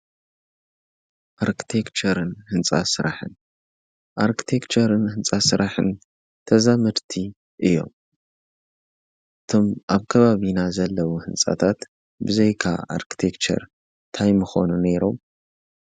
ኣርክቴክቸርን ሕንፃ ሥራሕን ኣርክቴቸርን ሕንፃ ሥራሕን ተዛምድቲ እዮም። እቶም ኣብ ከባብኢና ዘለቡ ሕንጻታት ብዘይካ ኣርክቴቸር ታይ ምኾኑ ነይሮም።